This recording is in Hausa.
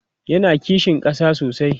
yana kishin ƙasa sosai